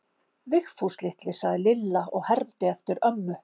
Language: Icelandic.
Vigfús litli, sagði Lilla og hermdi eftir ömmu.